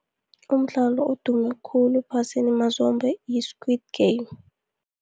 Umdlalo odume khulu ephasini mazombe yi-Squid Game.